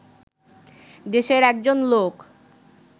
দেশের একজন লোক